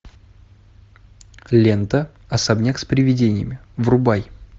лента особняк с привидениями врубай